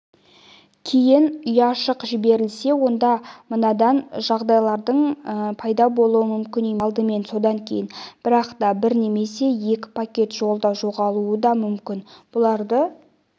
кейін ұяшық жіберілсе онда мынадай жағдайлардың пайда болуы мүмкін емес яғни алдымен содан кейін бірақ та бір немесе екі пакет жолда жоғалуы да мүмкін бұларды